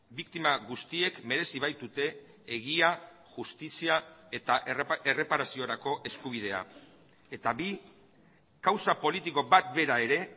biktima guztiek merezi baitute egia justizia eta erreparaziorako eskubidea eta bi kausa politiko bat bera ere